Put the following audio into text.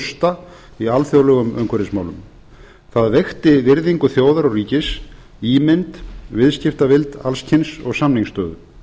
rusta í alþjóðlegum umhverfismálum það veikti virðingu þjóðar og ríkis ímynd viðskiptavild alls kyns og samningsstöðu